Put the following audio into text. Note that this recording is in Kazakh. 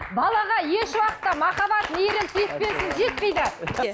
балаға еш уақытта махаббат мейірім сүйіспеншілік жетпейді